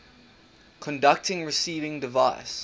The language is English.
conducting receiving device